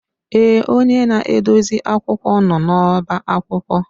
Èè, onye na-edozi akwụkwọ nọ n'ọba akwụkwọ.